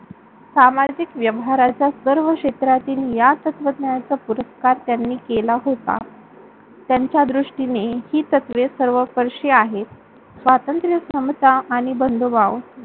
सामजिक व्याहाराचा सर्व क्षेत्रातील या तत्त्वज्ञानाचा पुरस्कार त्यांनी केला होता. त्यांच्यादृष्ठीने हि तत्वे सर्वस्पर्षीय आहे. स्वातंत्र्य, समता आणि बंधुभाव